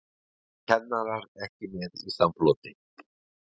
Kennarar ekki með í samfloti